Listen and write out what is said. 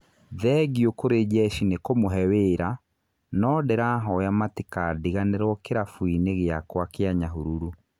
"Thengiũ kũrĩ jeshi nĩ kũmũhe wĩra no ndĩrahoya matikandiganĩrwo kĩrabu-inĩ gĩakwa kĩa Nyahururu".